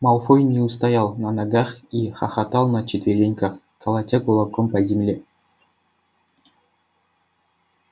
малфой не устоял на ногах и хохотал на четвереньках колотя кулаком по земле